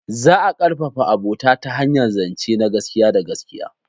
Za a ƙarfafa abota ta hanyar zance na gaskiya da gaskiya.